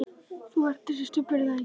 Þú ert þessi Stubbur, er það ekki?